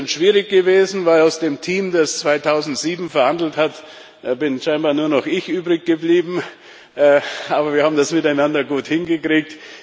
Es ist ein bisschen schwierig gewesen, weil aus dem Team, das 2007 verhandelt hat, scheinbar nur noch ich übrig geblieben bin. Aber wir haben das miteinander gut hingekriegt.